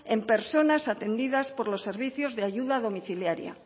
en personas atendidas por los servicios de ayuda domiciliaria